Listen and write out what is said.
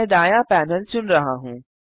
मैं दायाँ पैनल चुन रहा हूँ